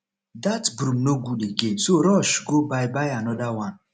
dat broom no good again so rush go buy buy another one